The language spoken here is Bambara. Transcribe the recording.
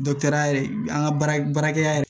ya yɛrɛ an ka baara baarakɛ yɛrɛ